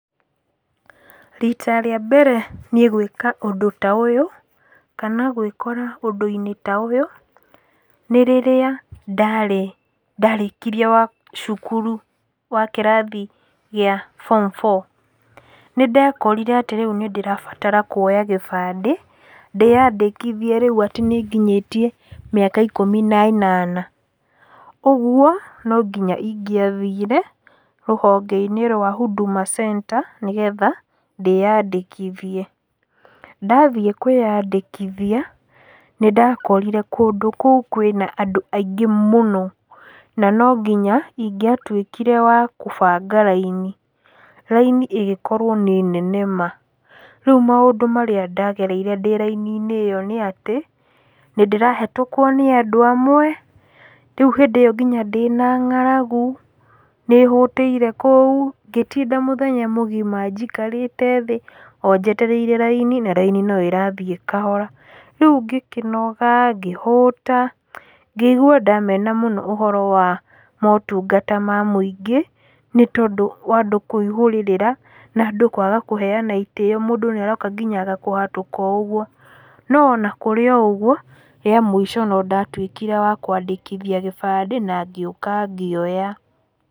Rita rĩa mbere niĩ gwĩka ũndũ ta ũyũ, kana gwĩkora ũndũ-inĩ ta ũyũ, nĩ rĩrĩa ndarĩ ndarĩkirie wa cukuru, o kĩrathi gĩa form four. Nĩndekorire atĩ rĩu nĩndarabatara kuoya gĩbandĩ, ndĩyandĩkithie rĩu atĩ nĩnginyĩtie mĩaka ikũmi na ĩnana, ũguo, nonginya ingĩathire, rũhongeinĩ rwa huduma centre, nĩgetha, ndĩyandĩkithie, ndathiĩ kwĩyandĩkithia, nĩndakorire kũndũ kũu kwĩna andú aingĩ mũno, na nonginya, ingĩatwĩkire wa kũbanga raini, raini ĩgĩkorwo nĩ nene ma, rĩu maũndũ marĩa ndagereire ndĩ raini-inĩ ĩyo nĩatĩ, nĩndĩrahĩtũkrwo nĩ andũ amwe, rĩu hĩndĩ íyo nginya ndĩna ng'aragu, nĩhũtĩire kũu, ngĩtinda mũthenya mũgima njikarĩte thĩ, o njeteire raini na raini noĩrathi kahora, rĩu ngĩkĩnoga, ngĩhũta, ngĩigua ndamena mũno ũhoro wa motungata ma mũingĩ, nĩtondũ wa andũ kũihũrĩrĩra, na andũ kwaga kũheana itĩo mũndũ nĩaroka nginya agakũhatũka oũguo, no ona kúrĩ o ũguo, rĩa mũico nondatwíkire wa kwandĩkithia gĩbandĩ, na ngĩũka ngĩoya.